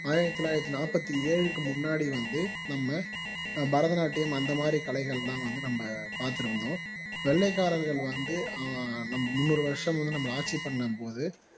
ஆயிரத்து தொள்ளாயிரத்து நாற்பத்தி ஏழுக்கு முன்னாடி வந்து நம்ம பரதநாட்டியம் அந்த மாதிரி கலைகள்லாம் வந்து நம்ம பாத்திருந்தோம் வெள்ளைக்காரர்கள் வந்து ஆஹ் நம்ம முன்னோர் வருஷம் வந்து நம்மள ஆட்சி பண்ணும் போது